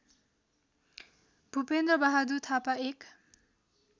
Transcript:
भूपेन्द्रबहादुर थापा एक